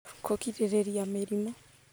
Kũgirĩrĩria mĩrimũ